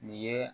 Nin ye